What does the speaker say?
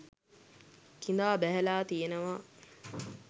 කිඳා බැහැලා තියෙනවා